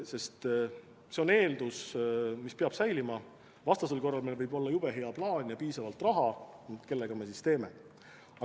See on eeldus, mis peab säilima, vastasel korral meil võib olla jube hea plaan ja piisavalt raha, aga kellega me seda kõike teeme?